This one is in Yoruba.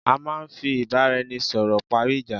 À máà ń fí ìbáraẹnisọ̀rọ̀ parí ìjá